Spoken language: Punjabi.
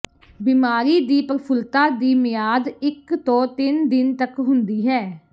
ਬਿਮਾਰੀ ਦੀ ਪ੍ਰਫੁੱਲਤਾ ਦੀ ਮਿਆਦ ਇੱਕ ਤੋਂ ਤਿੰਨ ਦਿਨ ਤੱਕ ਹੁੰਦੀ ਹੈ